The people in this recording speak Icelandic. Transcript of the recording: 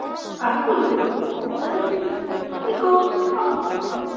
Arnúlfur, bókaðu hring í golf á fimmtudaginn.